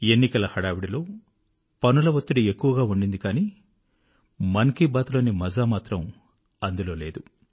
ఎన్నికల హడావిడిలో పనుల వత్తిడి ఎక్కువగా ఉండింది కానీ మన్ కీ బాత్ లోని మజా మాత్రం అందులో లేదు